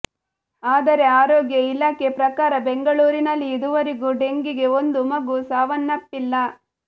ಆದರೆ ಆರೋಗ್ಯ ಇಲಾಖೆ ಪ್ರಕಾರ ಬೆಂಗಳೂರಿನಲ್ಲಿ ಇದುವರೆಗೂ ಡೆಂಘಿಗೆ ಒಂದೂ ಮಗು ಸಾವನ್ನಪ್ಪಿಲ್ಲ